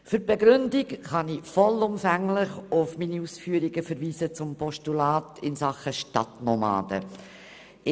Für die Begründung kann ich vollumfänglich auf meine Ausführungen zum Postulat in Sachen Stadtnomaden verweisen.